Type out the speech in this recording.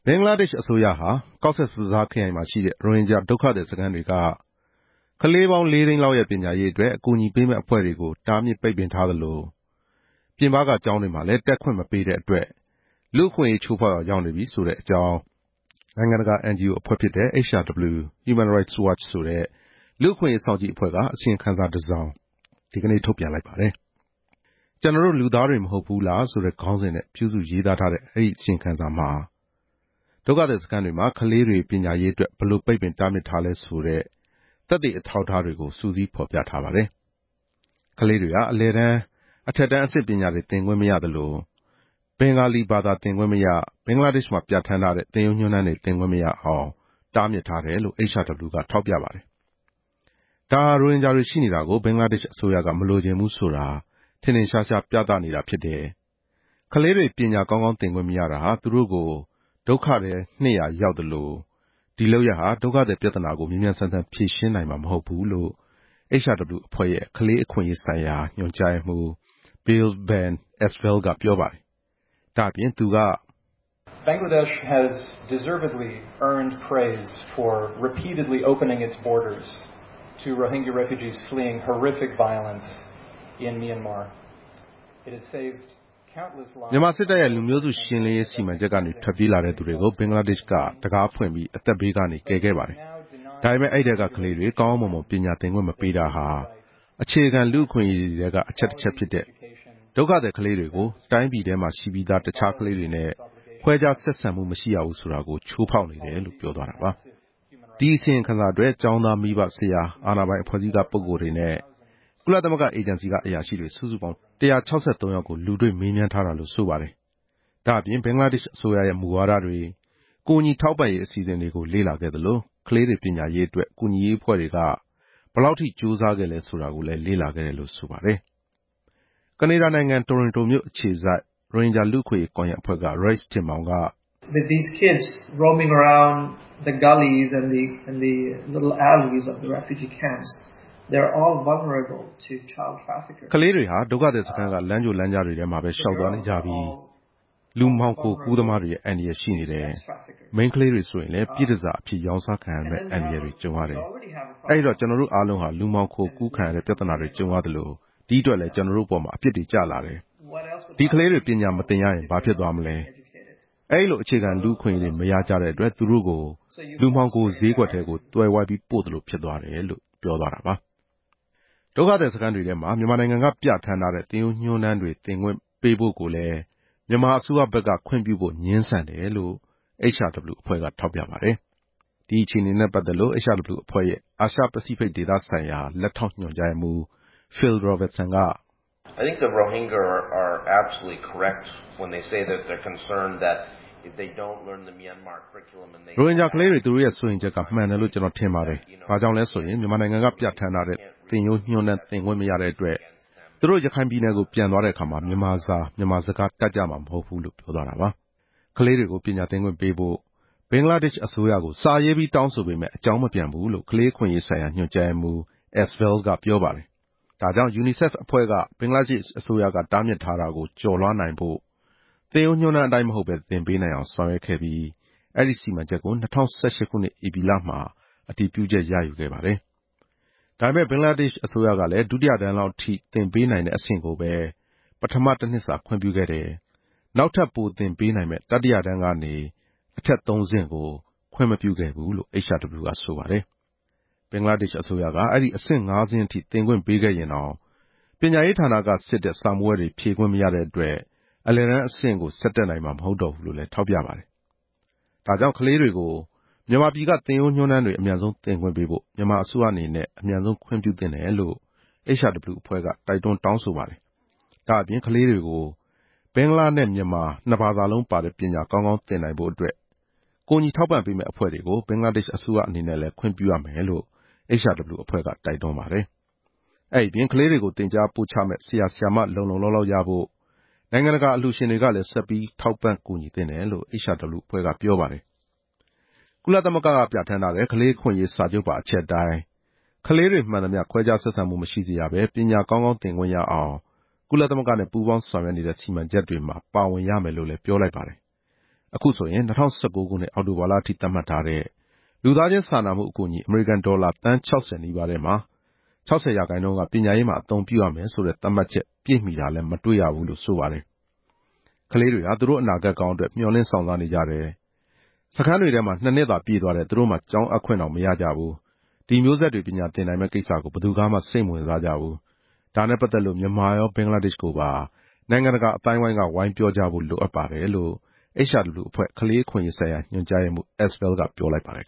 င်္ဂလားဒေ့ရှ်အစိုးရဟာ ကော့ဆက်ဘဇားခရိုင်မှာရှိတဲ့ ရိုဟင်ဂျာဒုက္ခသည်စခန်းတွေက ကလေးပေါင်း လေးသိန်းလောက်ရဲ့ ပညာရေးအတွက် အကူအညီပေးမယ့်အဖွဲ့တွေကို တားမြစ်ပိတ်ပင်ထားသလို၊ ပြင်ပက ကျောင်းတွေမှာလဲ တက်ခွင့်မပေးတဲ့အတွက် လူ့အခွင့်အရေးချိုးဖောက်ရာရောက်နေပြီဆိုတဲ့အကြောင်း နိုင်ငံတကာ NGO အဖွဲ့ဖြစ်တဲ့ HRW လူ့အခွင့်အရေးစောင့်ကြည့်အဖွဲ့က အစီရင်ခံစာတစောင် ဒီနေ့ထုတ်ပြန်လိုက်ပါတယ်။ “ကျနော်တို့လူသားတွေမဟုတ်ဘူးလား” ဆိုတဲ့ ခေါင်းစဉ်နဲ့ ပြုစုရေးသားထားတဲ့ အဲဒီအစီရင်ခံစာမှာ ကော့ဆက်ဘဇားခရိုင်က ဒုက္ခသည်စခန်းတွေမှာ ကလေးတွေပညာရေးအတွက် ဘယ်လိုပိတ်ပင် တားမြစ်ထားလဲဆိုတဲ့ သက်သေအထောက်အထားတွေကို စုစည်းဖော်ပြထားပါတယ်။ ကလေးတွေဟာ အလယ်တန်း၊ အထက်တန်းအဆင့်ပညာတွေ သင်ခွင့်မရသလို၊ ဘင်္ဂါလီဘာသာသင်ခွင့်မရ၊ ဘင်္ဂလားဒေ့ရှ်မှာ ပြဌာန်းထားတဲ့ သင်ရိုးညွှန်းတမ်းတွေသင်ခွင့်မရအောင် တားမြစ်ထားတယ်လို့ HRW က ထောက်ပြထားပါတယ်။ ဒါဟာ ရိုဟင်ဂျာတွေရှိနေတာကို ဘင်္ဂလားဒေ့ရှ်အစိုးရက မလိုချင်ဘူးဆိုတာ ထင်ထင်ရှားရှားပြသနေတာဖြစ်တယ်။ ကလေးတွေ ပညာကောင်းကောင်းသင်ခွင့်မရတာဟာ သူတို့ကိုဒုက္ခထဲ နှစ်ရာရောက်သလို၊ ဒီလုပ်ရပ်ဟာ ဒုက္ခသည်ပြဿနာကို မြန်မြန်ဆန်ဆန်ဖြေရှင်းနိုင်မှာ မဟုတ်ဘူးလို့ HRW အဖွဲ့ရဲ့ ကလေးအခွင့်အရေးဆိုင်ရာညွှန်ကြားရေးမှူး Bill Van Esveld က ပြောပါတယ်။ ဒါ့အပြင် Esveld က.... “ မြန်မာစစ်တပ်ရဲ့လူမျိုးစုရှင်းလင်းရေးစီမံချက်ကနေ ထွက်ပြေးလာတဲ့သူတွေကို ဘင်္ဂလားဒေ့ရှ်က အသက်ဘေးကနေ ကယ်ခဲ့ပါတယ်။ ဒါပေမယ့် အဲဒီထဲကကလေးတွေ ကောင်းကောင်းမွန်မွန် ပညာသင်ခွင့်မပေးတာဟာ အခြေခံလူ့အခွင့်အရေးထဲက အချက်ဖြစ်တဲ့ ဒုက္ခသည်ကလေးတွေကို တိုင်းပြည်ထဲမှာရှိပြီးသား ကလေးတွေနဲ့ ခွဲခြားဆက်ဆံမှုမရှိရဘူးဆိုတာကိုတော့ ချိုးဖောက်နေတယ်လို့" ပြောပါတယ်။ ဒီအစီရင်ခံစာအတွက် ကျောင်းသား၊ မိဘ၊ ဆရာ၊ အာဏာပိုင်အဖွဲ့အစည်းက ပုဂ္ဂိုလ်တွေနဲ့ ကုလသမဂ္ဂအေဂျင်စီကအရာရှိတွေ စုစုပေါင်း ၁၆၃ယောက်ကို လူတွေ့မေးမြန်းထားတာလို့ ဆိုပါတယ်။ ဒါ့အပြင် ဘင်္ဂလားဒေ့ရှ်အစိုးရရဲ့ မူဝါဒတွေ၊ ကူညီထောက်ပံ့ရေးအစီအစဉ်တွေကို လေ့လာခဲ့သလို၊ ကလေးတွေပညာရေးအတွက် ကူညီရေးအဖွဲ့တွေက ဘယ်လောက်ထိ ကြိုးစားခဲ့လဲဆိုတာကိုလည်း လေ့လာခဲ့တယ်လို့ ဆိုပါတယ်။ ကနေဒါနိုင်ငံ တိုရွန်တိုမြို့အခြေစိုက် ရိုဟင်ဂျာလူ့အခွင့်အရေးကွန်ရက်အဖွဲ့က Raiss Tinmaung က..... “ ကလေးတွေဟာ ဒုက္ခသည်စခန်းက လမ်းကြိုလမ်းကြားတွေမှာပဲ လျှောက်သွားနေကြပြီး၊ ကလေးမှောင်ခိုကူးသမားတွေရဲ့အန္တရာယ်ရှိနေတယ်။ မိန်းကလေးတွေဆိုရင်လည်း ပြည့်တန်ဆာအဖြစ် ရောင်းစားခံရမယ့် အန္တရာယ်တွေကြုံရတယ်။ အဲဒီတော့ ကျနော်တို့အားလုံးဟာ လူမှောင်ခိုကူးခံရတဲ့ ပြဿနာတွေကြုံရသလို၊ ဒီအတွက်လဲ ကျနော်တို့အပေါ်မှာ အပြစ်တွေကျလာတယ်။ ဒီကလေးတွေ ပညာမသင်ရရင် ဘာဖြစ်သွားမလဲ။ အဲဒီလို အခြေခံလူ့အခွင့်အရေးတွေ မရကြတဲ့အတွက် သူတို့ကို လူမှောင်ခိုဈေးကွက်ထဲကို သွယ်ဝိုက်ပြီး ပို့သလိုဖြစ်သွားတယ်” လို့ပြောပါတယ်။ ဒုက္ခသည်စခန်းတွေထဲမှာ မြန်မာနိုင်ငံက ပြဌာန်းထားတဲ့ သင်ရိုးညွှန်းတမ်းသင်ပေးခွင့်ကိုလဲ မြန်မာအစိုးရဘက်က ခွင့်ပြုဖို့ငြင်းဆန်တယ်လို့ HRW အဖွဲ့ကထောက်ပြပါတယ်။ ဒီအခြေအနေနဲ့ပတ်သက်လို့ HRW အဖွဲ့ အာရှပစိတ်ဖိတ်ဒေသဆိုင်ရာ လက်ထောက်ညွှန်ကြားရေးမှူး Phil Robertson က...... “ ရိုဟင်ဂျာကလေးတွေ သူတို့ရဲ့စိုးရိမ်ချက်ကမှန်တယ်လို့ ကျနော်ထင်ပါတယ်။ ဘာကြောင့်လဲဆိုရင် မြန်မာနိုင်ငံကပြဌာန်းထားတဲ့ သင်ရိုးညွှန်တမ်းသင်ခွင့်မရတဲ့အတွက် သူတို့ ရခိုင်ပြည်နယ်ကို ပြန်သွားတဲ့အခါ မြန်မာစာ၊ မြန်မာစကားတတ်ကြမှာ မဟုတ်ဘူး” လို့ ပြောပါတယ်။ ကလေးတွေကို ပညာသင်ခွင့်ပေးဖို့ ဘင်္ဂလားဒေ့ရှ်အစိုးရကို စာရေးပြီး တောင်းဆိုပေမယ့်အကြောင်းမပြန်ဘူးလို့ ကလေးအခွင့်အရေးဆိုင်ရာညွှ န်ကြားရေးမှူး Bill Van Esveld ကပြောပါတယ်။ ဒါကြောင့် ယူနီဆက်အဖွဲ့က ဘင်္ဂလားဒေ့ရှ်အစိုးရက တားမြစ်ထားတာကို ကျော်လွှားနိုင်ဖို့ သင်ရိုးညွှန်းတမ်းအတိုင်း မဟုတ်ဘဲ သင်ပေးနိုင်အောင် ဆောင်ရွက်ခဲ့ပြီး အဲဒီစီမံချက်ကို ၂ဝ၁၈ ခုနှစ် ဧပြီလမှာ အတည်ပြုချက်ရယူခဲ့တယ်။ ဒါပေမယ့် ဘင်္ဂလားဒေ့ရှ်အစိုးရကလဲ ဒုတိယတန်းလောက်ထိ သင်ပေး နိုင်တဲ့အဆင့်ကိုပဲ ပထမတနှစ်စာခွင့်ပြုခဲ့တယ်။ နောက်ထပ်ပိုသင်ပေးနိုင်မယ့် တတိယတန်းကနေ အထက် အဆင့်သုံးဆင့်ကို ခွင့်မပြုခဲ့ဘူးလို့ HRW ကဆိုပါတယ်။ ဘင်္ဂလားဒေ့ရှ်အစိုးရက အဲဒီအဆင့်ငါးဆင့်ထိ သင်ခွင့်ပေးခဲ့ရင်တောင် ပညာရေးဌာနက စစ်တဲ့စာမေးပွဲတွေ ဖြေခွင့်မရတဲ့အတွက် အလယ်တန်းအဆင့်ကို ဆက်တက်နိုင်မှာ မဟုတ်တော့ဘူးလို့လဲ ထောက်ပြပါတယ်။ ဒါကြောင့် ကလေးတွေကို မြန်မာပြည်က သင်ရိုးညွှန်းတမ်းတွေ အမြန်ဆုံးသင်ခွင့်ပေးဖို့ မြန်မာအစိုးရအနေနဲ့ အမြန်ဆုံးခွင့်ပြုသင့်တယ်လို့ HRW အဖွဲ့က တောင်းဆိုတိုက်တွန်းလိုက်ပါတယ်။ ဒါ့အပြင် ကလေးတွေကို ဘင်္ဂလားနဲ့ မြန်မာနှစ်ဘာသာလုံးပါတဲ့ ပညာကောင်းကောင်းသင်နိုင်ဖို့အတွက် ကူညီထောက်ပံ့မယ့်အဖွဲ့တွေကို ဘင်္ဂလားဒေ့ရှ်အစိုးရအနေနဲ့လဲ ခွင့်ပြုရမယ်လို့ HRW အဖွဲ့က တိုက်တွန်းလိုက်ပါတယ်။ အဲဒီအပြင် ကလေးတွေကို သင်ကြားပို့ချမယ့် ဆရာ၊ ဆရာမ လုံလုံလောက်လောက်ရဖို့ နိုင်ငံတကာအလှူရှင်တွေကလဲ ဆက်ပြီး ထောက်ပံ့ကူညီသင့်တယ်လို့ HRW အဖွဲ့က ပြောပါတယ်။ ကုလသမဂ္ဂမှာ ပြဌာန်းထားတဲ့ ကလေးအခွင့်အရေးစာချုပ်ပါ အချက်အတိုင်း ကလေးတွေမှန်သမျှ ခွဲခြားဆက်ဆံမှုမရှိစေရဘဲ ပညာကောင်းကောင်းသင်ခွင့်ရအောင် ကုလသမဂ္ဂနဲ့ပူးပေါင်းဆောင်ရွက်နေတဲ့ စီမံချက်တွေမှာ ပါဝင်ရမယ်လို့လည်းပြောလိုက်ပါတယ်။ အခုဆိုရင် ၂ဝ၁၉ ခုနှစ် အောက်တိုဘာလအထိ သတ်မှတ်ထားတဲ့ လူသားချင်းစာနာမှုအကူအညီ အမေရိကန်ဒေါ်လာသန်း ၆ဝ နီးပါးထဲမှာ ၆ဝ ရာခိုင်နှုန်းက ပညာရေးမှာ အသုံးပြုရမယ်ဆိုတဲ့ သတ်မှတ်ချက်ပြည့်မှီတာလဲ မတွေ့ရဘူးလို့ ဆိုပါတယ်။ " ကလေးတွေဟာ သူတို့အနာဂတ်ကောင်းအတွက် မျှော်လင့်စောင့်စားနေကြတယ်။ နှစ်နှစ်သာ ပြည့်သွားတယ် သူတို့မှာ ကျောင်းအပ်ခွင့်တောင် မရကြဘူး။ ဒီမျိုးဆက်တွေ ပညာသင်နိုင်မယ့်ကိစ္စကို ဘယ်သူကမှ စိတ်မဝင်စားကြဘူး။ ဒါနဲ့ပတ်သက်လို့ မြန်မာရော ဘင်္ဂလားဒေ့ရှ်ကိုပါ နိုင်ငံတကာအသိုင်းအဝိုင်းက ဝိုင်းပြောကြဖို့ လိုပါတယ်"လို့ HRW အဖွဲ့ ကလေးအခွင့်အရေးဆိုင်ရာ ညွှန်ကြားရေးမှူး Esveld က ပြောလိုက်ပါတယ်။